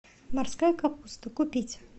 морская капуста купить